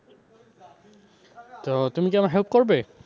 তো তুমি কি আমার help করবে?